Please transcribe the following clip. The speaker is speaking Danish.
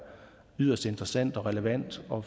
yderst interessant og relevant for